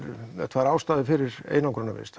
tvær ástæður fyrir einangrunarvist